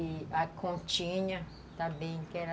E a continha também, que era...